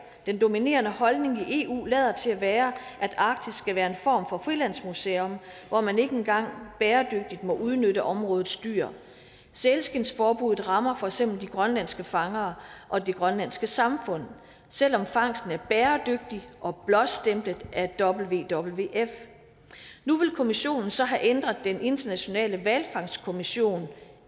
den dominerende holdning i eu lader til at være at arktis skal være en form for frilandsmuseum hvor man ikke engang bæredygtigt må udnytte områdets dyr sælskindsforbuddet rammer for eksempel de grønlandske fangere og det grønlandske samfund selv om fangsten er bæredygtig og blåstemplet af wwf nu vil kommissionen så have ændret den internationale hvalfangstkommissionen